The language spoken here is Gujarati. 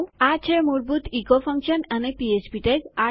ઠીક છે આ છે મૂળભૂત ઇકો ફંક્શન અને પીએચપી ટેગ